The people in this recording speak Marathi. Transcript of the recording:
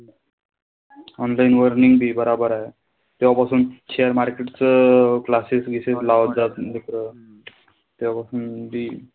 Online learning बी बराबर हाये. तेंव्हापासून share market चं classes बिसेस लावत होते मित्र तेंव्हापासून हम्म बी,